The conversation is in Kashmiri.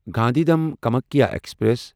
گاندھیدھام کامکھیا ایکسپریس